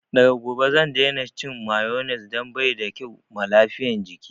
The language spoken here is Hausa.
Daga gobe zan daina cin mayones dan baida kyau ma lafiyan jiki